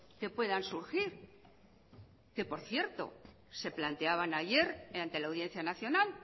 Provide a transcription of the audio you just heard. que puedan surgir que por cierto se planteaban ayer ante la audiencia nacional